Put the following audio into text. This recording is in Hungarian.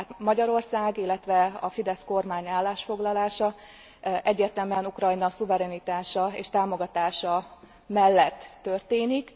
Tehát Magyarország, illetve a FIDESZ kormány állásfoglalása egyértelműen Ukrajna szuverenitása és támogatása mellett történik.